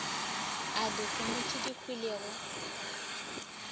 a dikgomo tše di hwilego